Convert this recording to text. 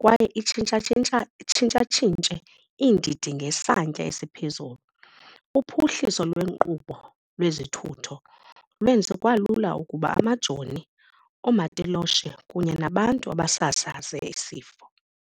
kwaye itshintshatshintshe iindidi ngesantya esiphezulu. Uphuhliso lweenkqubo lwezithutho lwenze kwalula ukuba amajoni, oomatiloshe kunye nabantu abasasaze esi sifo.